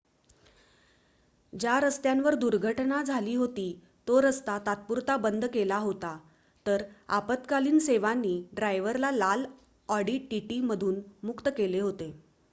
ज्या रस्त्यावर दुर्घटना झाली होती तो रस्ता तात्पुरता बंद केला होता तर आपत्कालीन सेवांनी ड्रायव्हरला लाल ऑडी टीटी मधून मुक्त केले होते